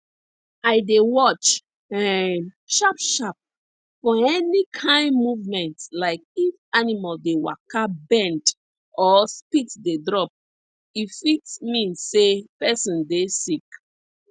i dey watch um sharpsharp for any kine movement like if animal dey waka bend or spit dey drop e fit mean say person dey sick